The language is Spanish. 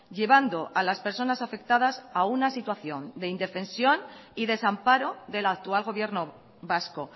llevando a las personas afectadas a una situación de indefensión y desamparo del actual gobierno vasco